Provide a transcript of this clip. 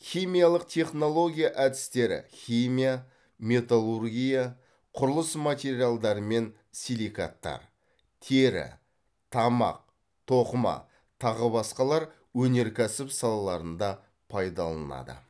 химиялық технология әдістері химия металлургия құрылыс материалдары мен силикаттар тері тамақ тоқыма тағы басқалар өнеркәсіп салаларында пайдаланылады